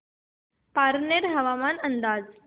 पारनेर हवामान अंदाज